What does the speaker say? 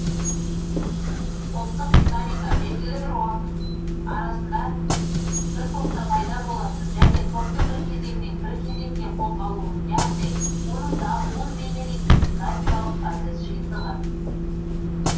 топтық динамика белгілі бір уақыт арасында бір топта пайда болатын және топтың бір кезеңнен бір кезеңге қозғалуын яғни оның дамуын бейнелейтін динамикалық процесс жиынтығы